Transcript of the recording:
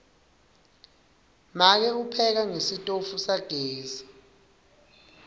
make upheka ngesitofu sagesi